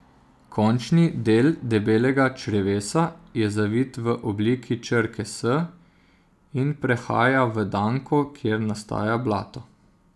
Končni del debelega črevesa je zavit v obliki črke S in prehaja v danko, kjer nastaja blato.